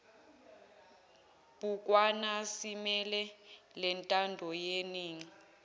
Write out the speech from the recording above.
bhukwana zimele lentandoyeningi